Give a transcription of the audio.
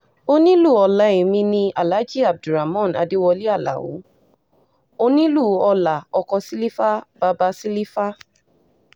onílù-ọ̀la èmi ni aláàjí abdulramon adewolé aláo onílù-ọlá ọkọ̀ sílífà bàbá sílífà